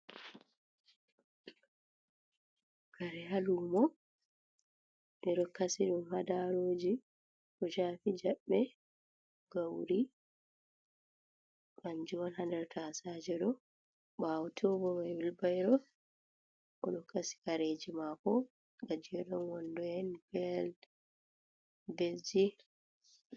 Kare ha lumo de dokasi dum hadaroji kocafi jabbe, gauri, kanjum on ha nder tasajejido bawoto bo jawmo wilbairo o dokasi kareji mako gajedon wondo’en be belgi.